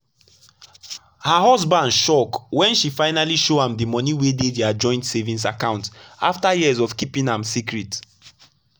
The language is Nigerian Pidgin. her husband shock when she finally show am the money wey dey their joint savings account after years of keeping am secret.